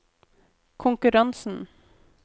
konkurransen